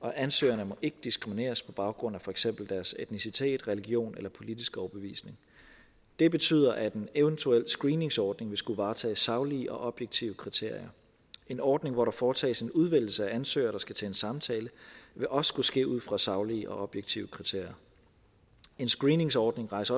og ansøgerne må ikke diskrimineres på baggrund af for eksempel deres etnicitet religion eller politiske overbevisning det betyder at en eventuel screeningsordning ville skulle varetage saglige og objektive kriterier en ordning hvor der foretages en udvælgelse af ansøgere der skal til en samtale vil også skulle ske ud fra saglige og objektive kriterier en screeningsordning rejser